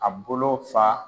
A bolo fa